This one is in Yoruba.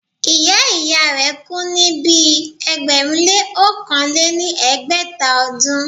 ìyá ìyá rẹ̀ kú ní ibi ẹgbẹ̀rún lé ọ̀kàn lé ní ẹgbẹ́ta ọdún.